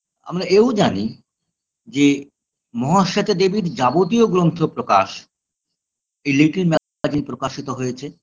আমরা এও জানি যে মহাশ্বেতা দেবীর যাবতীয় গ্রন্থ প্রকাশ এই little magazine প্রকাশিত হয়েছে